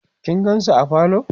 kin gansu a parlor?